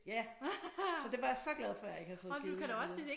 Ja. Så det var jeg så glad for at jeg ikke havde fået givet videre